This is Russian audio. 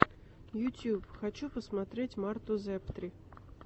ютуб хочу посмотреть марту зэптри